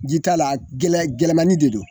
Ji t'a la, a gɛlɛya gɛlɛmani de don.